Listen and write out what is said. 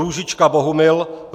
Růžička Bohumil